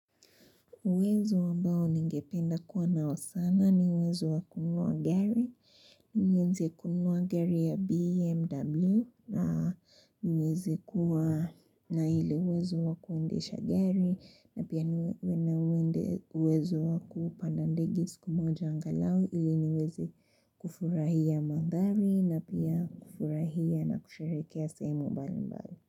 Uwezo ambao ningependa kuwa nao sana ni uwezo wa kununua gari. Nieze kununua gari ya BMW na nieze kuwa na ile uwezo wa kuendesha gari. Na pia uwezo wa kupanda ndege siku moja angalau. Ili niweze kufurahia mandhari na pia kufurahia na kusherehekea sehemu mbalimbali.